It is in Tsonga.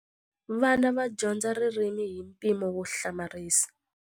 Vana va dyondza ririmi hi mpimo wo hlamarisa.